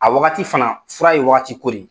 A wagati fana fura ye wagatiko de ye.